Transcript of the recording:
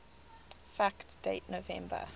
fact date november